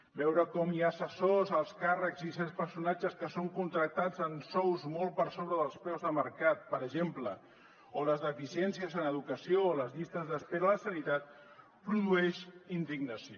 veure com hi ha assessors alts càrrecs i certs personatges que són contractats amb sous molt per sobre dels preus de mercat per exemple o les deficiències en educació o les llistes d’espera a la sanitat produeixen indignació